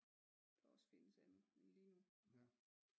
Der også findes andet i livet